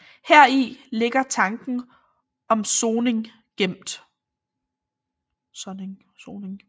Heri ligger tanken om soning gemt